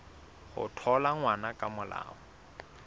ho thola ngwana ka molao